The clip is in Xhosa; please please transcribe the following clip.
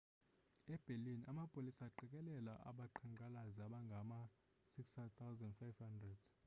e-berlin amapolisa aqikelela abaqhankqalazi abangama-6 500